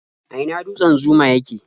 A ina dutsen Zuma yake?